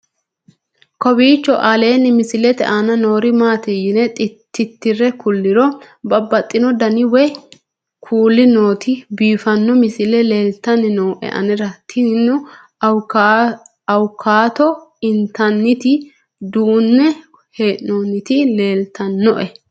kowiicho aleenni misilete aana noori maati yine titire kulliro babaxino dani woy kuuli nooti biiffanno misile leeltanni nooe anera tino awukaato intanniti duune hee'noonniti leltannoe